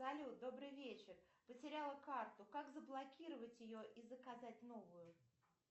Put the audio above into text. салют добрый вечер потеряла карту как заблокировать ее и заказать новую